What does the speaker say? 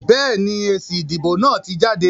Béèni, èsì ìdìbò náà ti jáde